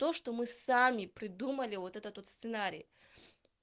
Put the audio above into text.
то что мы сами придумали вот этот вот сценарий